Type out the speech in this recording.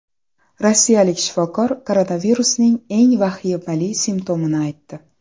Rossiyalik shifokor koronavirusning eng vahimali simptomini aytdi.